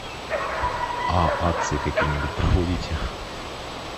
а акции какие нибудь проводите